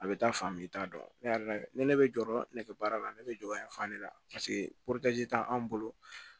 A bɛ taa fan min i t'a dɔn ne yɛrɛ ni ne bɛ jɔyɔrɔ ne baara la ne bɛ jɔ yan fan de la paseke t'anw bolo